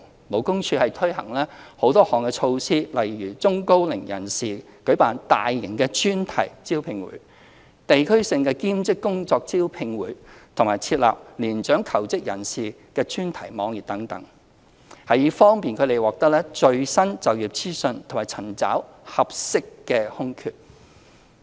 勞工處已推行多項措施，例如為中高齡人士舉辦大型專題招聘會、地區性兼職工作招聘會及設立年長求職人士專題網頁等，以方便他們獲得最新就業資訊和尋找合適的空缺。